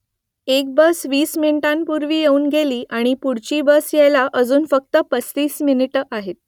एक बस वीस मिनिटांपूर्वी येऊन गेली आणि पुढची बस यायला अजून फक्त पस्तीस मिनिटं आहेत